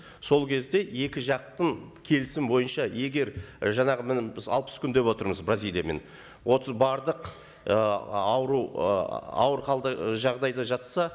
сол кезде екі жақтың келісім бойынша егер жаңағы міне біз алпыс күн деп отырмыз бразилиямен отыз бардық ы ауру ы ауыр халде жағдайда жатса